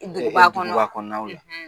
I don i ba kɔnɔ, duguba kɔnɔnaw ye